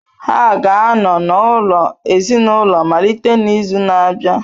Ha ga-anọ n’ụlọ ezinaụlọ malite n’izu na-abịa.